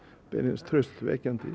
beinlínis traustvekjandi